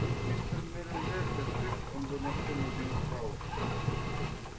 будь мистер мерриуэзер жив он бы нашёл на него управу